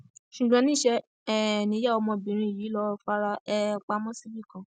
ṣùgbọn níṣẹ um ni ìyá ọmọbìnrin yìí lọọ fara um pamọ síbì kan